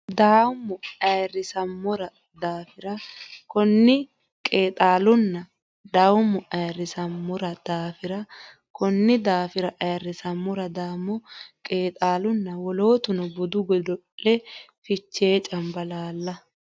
dawoommo Ayirrisammora daafira Konni qeexaalunna dawoommo Ayirrisammora daafira Konni Konni daafira Ayirrisammora dawoommo qeexaalunna wolootuno budu godo le Fichee Cambalaalla !